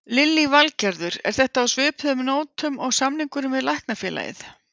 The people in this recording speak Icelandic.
Lillý Valgerður: Er þetta á svipuðum nótum og samningurinn við Læknafélagið?